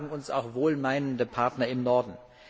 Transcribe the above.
Das sagen uns auch wohlmeinende Partner im Norden.